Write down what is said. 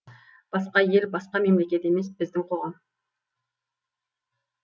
басқа ел басқа мемлекет емес біздің қоғам